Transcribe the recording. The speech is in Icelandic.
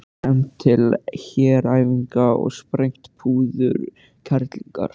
Efnt til heræfinga og sprengt púðurkerlingar?